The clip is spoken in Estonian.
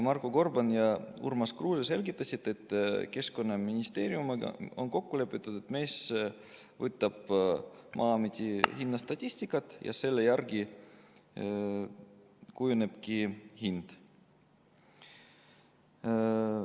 Marko Gorban ja Urmas Kruuse selgitasid, et Keskkonnaministeeriumiga on kokku lepitud, et MES võtab Maa-ameti hinnastatistika ja selle järgi kujuneb hind.